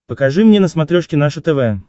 покажи мне на смотрешке наше тв